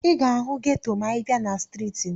Ị ga-ahụ geto ma ị bịa na streeti m.